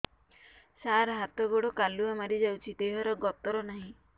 ସାର ହାତ ଗୋଡ଼ କାଲୁଆ ମାରି ଯାଉଛି ଦେହର ଗତର ନାହିଁ